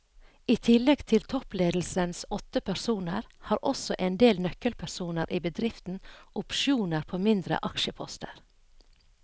I tillegg til toppledelsens åtte personer har også en del nøkkelpersoner i bedriften opsjoner på mindre aksjeposter.